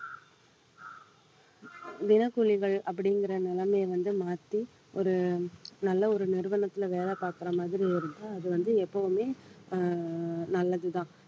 தினக்கூலிகள் அப்படிங்கிற நிலைமையை வந்து மாத்தி ஒரு நல்ல ஒரு நிறுவனத்திலே வேலை பார்க்கிற மாதிரி இருக்கும் அது வந்து எப்பவுமே அஹ் நல்லதுதான்